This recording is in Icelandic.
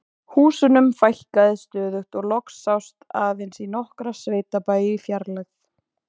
Húsunum fækkaði stöðugt og loks sást aðeins í nokkra sveitabæi í fjarlægð.